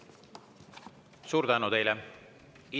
Suur tänu teile!